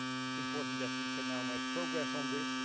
It is important that we can now make progress on this